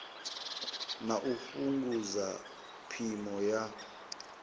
na u fhungudza phimo ya